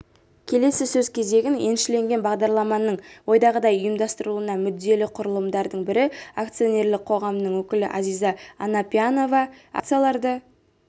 келесі сөз кезегін еншілеген бағдарламаның ойдағыдай ұйымдастырылуына мүдделі құрылымдардың бірі акционерлік қоғамының өкілі азиза анапьянова акцияларды